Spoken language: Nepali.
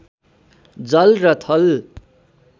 जल र थल